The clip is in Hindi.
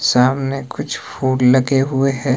सामने कुछ फूल लगे हुए है।